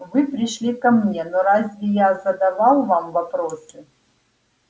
вы пришли ко мне но разве я задавал вам вопросы